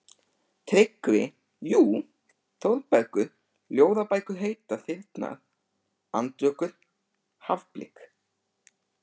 TRYGGVI: Jú, Þórbergur, ljóðabækur heita Þyrnar, Andvökur, Hafblik.